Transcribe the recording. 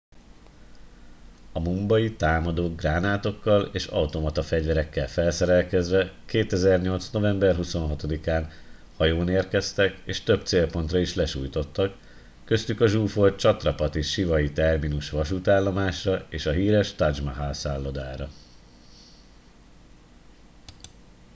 a mumbai támadók gránátokkal és automata fegyverekkel felszerelve 2008. november 26 án hajón érkeztek és több célpontra is lesújtottak köztük a zsúfolt chhatrapati shivaji terminus vasútállomásra és a híres taj mahal szállodára